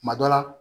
Kuma dɔ la